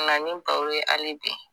ye hali bi